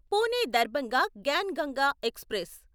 Pune Darbhanga Gyan Ganga express